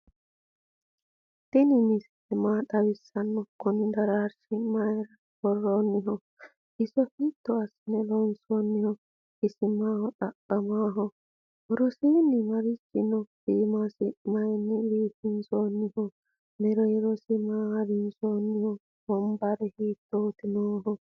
tini misile maa xawisano? kuni dararchu mayira woeoniho? iso hito asine lonsoniho? isi maho xaqamaho? worosini marichi no?imiso mayini bifinsoniho? mererosi maa harinsoniho? wonbara hitoti noho?